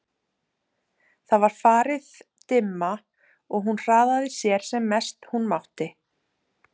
Það var farið dimma og hún hraðaði sér sem mest hún mátti.